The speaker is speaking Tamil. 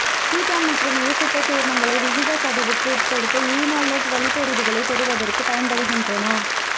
கீட்டோன் மற்றும் எசுத்தர் சேர்மங்களை விகிதச் சிதைவுக்கு உட்படுத்தி ஈனோலேட்டு வழிப்பெறுதிகளைப் பெறுவதற்கு பயன்படுகின்றன